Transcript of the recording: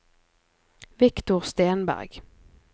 Viktor Stenberg